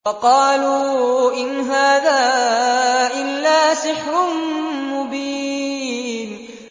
وَقَالُوا إِنْ هَٰذَا إِلَّا سِحْرٌ مُّبِينٌ